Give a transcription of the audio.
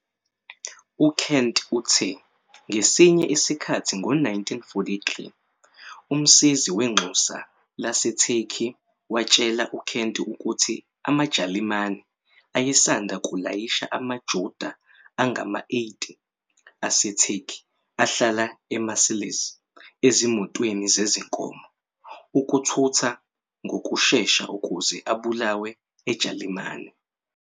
UKent uthe, ngesinye isikhathi ngo-1943, umsizi wenxusa laseTurkey watshela uKent ukuthi amaJalimane ayesanda kulayisha amaJuda angama-80 aseTurkey ahlala eMarseilles ezimotweni zezinkomo ukuthutha ngokushesha ukuze abulawe eJalimane.